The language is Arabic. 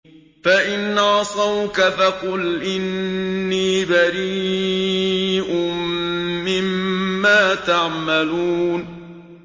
فَإِنْ عَصَوْكَ فَقُلْ إِنِّي بَرِيءٌ مِّمَّا تَعْمَلُونَ